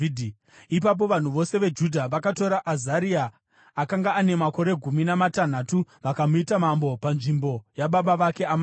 Ipapo vanhu vose veJudha vakatora Azaria, akanga ane makore gumi namatanhatu, vakamuita mambo panzvimbo yababa vake Amazia.